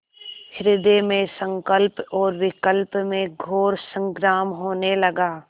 हृदय में संकल्प और विकल्प में घोर संग्राम होने लगा